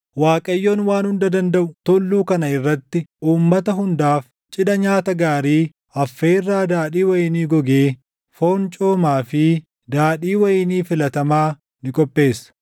Waaqayyoon Waan Hunda Dandaʼu tulluu kana irratti uummata hundaaf cidha nyaata gaarii, affeerraa daadhii wayinii gogee, foon coomaa fi daadhii wayinii filatamaa ni qopheessa.